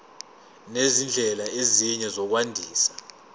nezindlela ezinye zokwandisa